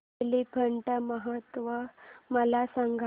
एलिफंटा महोत्सव मला सांग